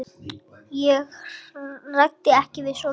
Ég ræddi ekkert við Júlíu.